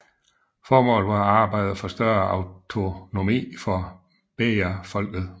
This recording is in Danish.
Formålet var at arbejde for større autonomi for bejafolket